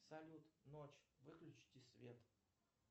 салют ночь выключите свет